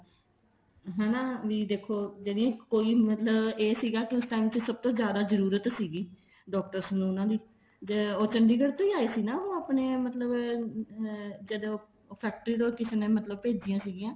ਹਨਾ ਵੀ ਦੇਖੋ ਕੋਈ ਮਤਲਬ ਇਹ ਸੀਗਾ ਕੇ ਉਸ time ਚ ਸਭ ਤੋਂ ਜਿਆਦਾ ਮਤਲਬ ਜਰੂਰਤ ਸੀਗੀ doctors ਨੂੰ ਉਹਨਾ ਨੇ ਉਹ ਚੰਡੀਗੜ੍ਹ ਤੋਂ ਆਏ ਸੀ ਆਪਣੇ ਮਤਲਬ ਜਦੋਂ ਫੇਕਟਰੀ ਤੋਂ ਕਿਸੇ ਮਤਲਬ ਭੇਜੀਆਂ ਸੀਗੀਆ